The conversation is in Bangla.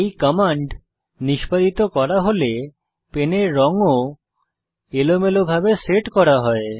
এই কমান্ড নিষ্পাদিত করা হলে পেনের রঙ ও এলোমেলোভাবে সেট করা হয়